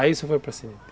Aí você foi para Seringa?